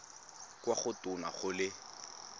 kwa go tona go le